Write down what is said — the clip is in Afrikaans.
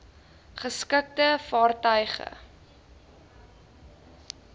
geskikte vaartuig e